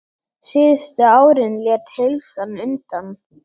Síðustu árin lét heilsan undan.